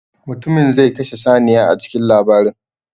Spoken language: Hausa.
Mutumin zai kashe saniya a cikin labarin.